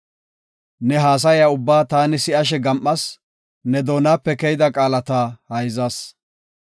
“Ne haasaya ubbaa taani si7ashe gam7as; ne doonape keyida qaalata hayzas.